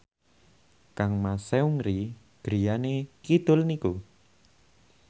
kangmas Seungri griyane kidul niku